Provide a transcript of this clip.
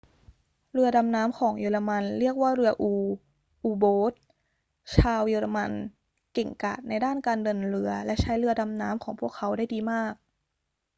เรือดำน้ำของเยอรมันเรียกว่าเรืออู u-boat ชาวเยอรมันเก่งกาจในด้านการเดินเรือและใช้เรือดำน้ำของพวกเขาได้ดีมาก